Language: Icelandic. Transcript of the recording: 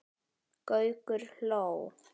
Gaukur hló.